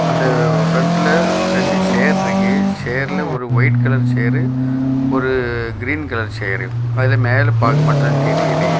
வந்து பிரண்ட்ல ரெண்டு சேர் இருக்கு சேர்லெ ஒரு ஒயிட் கலர் சேர் ஒரு கிரீன் கலர் சேர் அதுல மேல பார்ட் மட்டும் தான் தெரியுது.